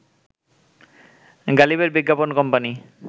গালিবের বিজ্ঞাপন কোম্পানি